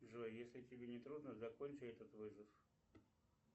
джой если тебе не трудно закончи этот вызов